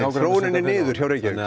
þróunin er niður í Reykjavík